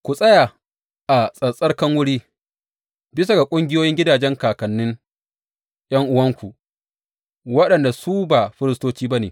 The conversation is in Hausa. Ku tsaya a tsattsarkan wuri, bisa ga ƙungiyoyin gidajen kakannin ’yan’uwanku, waɗanda su ba firistoci ba ne.